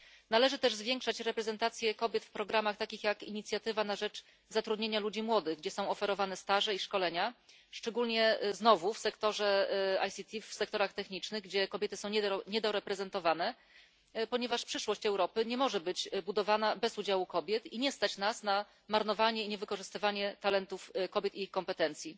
Należy też zwiększać reprezentację kobiet w programach takich jak Inicjatywa na rzecz zatrudnienia ludzi młodych, gdzie są oferowane staże i szkolenia, szczególnie znowu w sektorze ICT, w sektorach technicznych, gdzie kobiety są niedoreprezentowane, ponieważ przyszłość Europy nie może być budowana bez udziału kobiet i nie stać tez nas na marnowanie i niewykorzystywanie ich talentów kobiet i ich kompetencji.